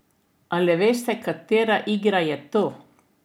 Ali veste, katera igra je to?